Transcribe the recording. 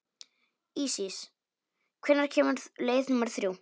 Ísis, hvenær kemur leið númer þrjú?